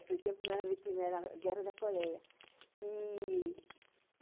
Naquele tempo não era vitínia, era a Guerra da Coreia.